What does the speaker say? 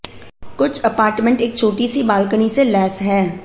कुछ अपार्टमेंट एक छोटी सी बालकनी से लैस हैं